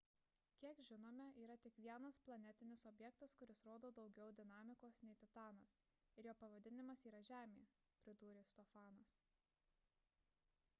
kiek žinome yra tik vienas planetinis objektas kuris rodo daugiau dinamikos nei titanas ir jo pavadinimas yra žemė – pridūrė stofanas